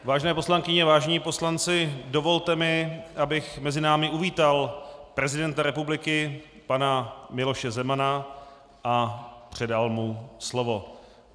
Vážené poslankyně, vážení poslanci, dovolte mi, abych mezi námi uvítal prezidenta republiky pana Miloše Zemana a předal mu slovo.